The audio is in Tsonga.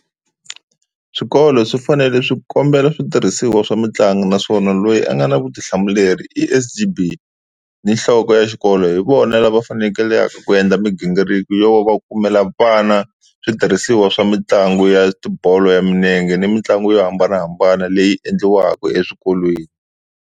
Swikolo swi fanele swi kombela switirhisiwa swa mitlangu naswona loyi a nga na vutihlamuleri i S_G_B ni nhloko ya xikolo, hi vona lava fanekelaka ku endla mighingiriko yo va kumela vana switirhisiwa swa mitlangu ya tibolo ya milenge ni mitlangu yo hambanahambana leyi endliwaka eswikolweni.